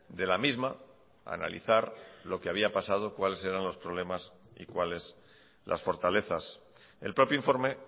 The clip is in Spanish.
de la misma analizar lo que había pasado cuáles eran los problemas y cuáles las fortalezas el propio informe